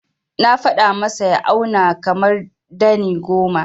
Na faɗa masa ya auna kamar ɗani goma.